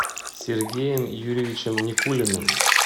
сергеем юрьевичем никулиным